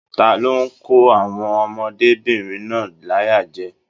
Talo n kò àwọn ọmọdébinrin náà láyà jẹ?